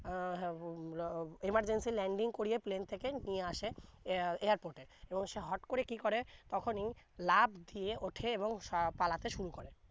আহ উম emergency landing করিয়ে plane থেকে নিয়ে আসে এ~ airport এ এবং সে হুট করে তখনি লাফ দিয়ে ওঠে এবং সা পালাতে শুরু করে